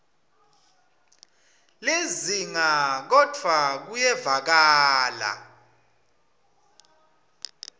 lizinga kodvwa kuyevakala